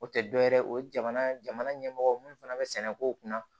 O tɛ dɔ wɛrɛ ye o jamana jamana ɲɛmɔgɔw minnu fana bɛ sɛnɛ kow kunna